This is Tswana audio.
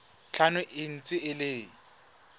tlhano e ntse e le